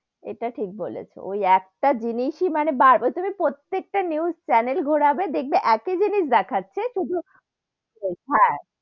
এটা ঠিক বলেছো, ওই একটা জিনিস এ মানে বার~ তুমি প্রত্যেক টা news channel ঘোরাবে, দেখবে একটা জিনিস দেখাচ্ছে শুধু ,